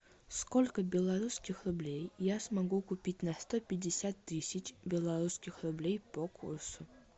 сколько белорусских рублей я смогу купить на сто пятьдесят тысяч белорусских рублей по курсу